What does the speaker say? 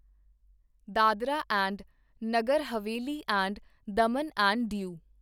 Dadra and Nagar Haveli and Daman and ਦਿਉ